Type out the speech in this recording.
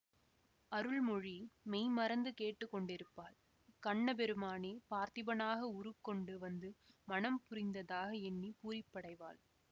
அருள்மொழி மெய் மறந்து கேட்டு கொண்டிருப்பாள் கண்ண பெருமானே பார்த்திபனாக உருக்கொண்டு வந்து மணம் புரிந்ததாக எண்ணி பூரிப்படைவாள்